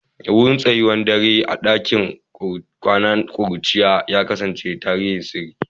Wurin tsayawar dare a cikin ɗakin kwana na kuruciya ya kasance tarin sirri.